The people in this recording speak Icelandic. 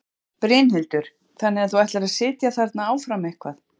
Brynhildur: Þannig að þú ætlar að sitja þarna áfram eitthvað?